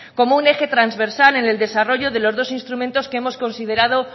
como un eje transversal en el desarrollo de los dos instrumentos que hemos considerado